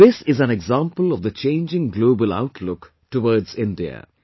This is an example of the changing global outlook towards India